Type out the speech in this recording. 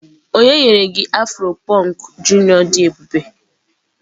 onye nyere gi afro punk junior di ebube?